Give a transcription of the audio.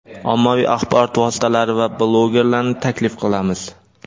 ommaviy axborot vositalari va blogerlarni taklif qilamiz!.